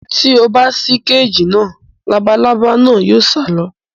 Tí o bá ṣí kééjì náà. Labalábá náà yóò sá lọ.